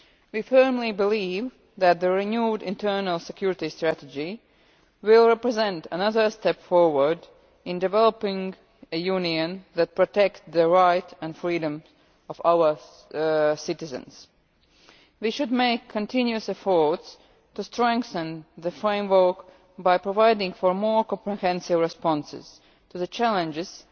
We firmly believe that the renewed internal security strategy will represent another step forward in developing a Union that protects the rights and freedoms of our citizens. We should make continuous efforts to strengthen the framework by providing for more comprehensive responses to the challenges